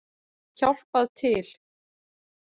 Hjálpað til!